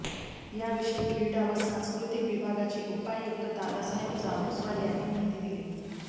याविषयी क्रीडा व सांस्कृतिक विभागाचे उपायुक्त दादासाहेब चाबुकस्वार यांनी माहिती दिली